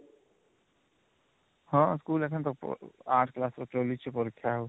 ହଁ ଯାଇଛନ ୮ class ର ୨୪ ରୁ ପରୀକ୍ଷା ଆଉ